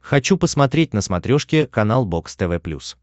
хочу посмотреть на смотрешке канал бокс тв плюс